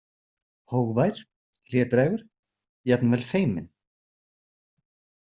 Hógvær, hlédrægur, jafnvel feiminn.